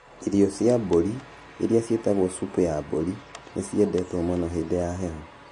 Irio cia mbũri, iria ciĩtagwo supu ya mbũri, nĩ ciendetwo mũno hĩndĩ ya heho.